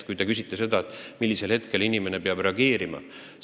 Te küsite, millal ohver peab reageerima.